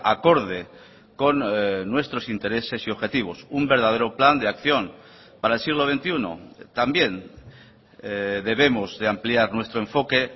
acorde con nuestros intereses y objetivos un verdadero plan de acción para el siglo veintiuno también debemos de ampliar nuestro enfoque